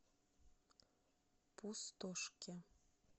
пустошке